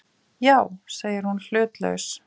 Já, segir hún hlutlaus.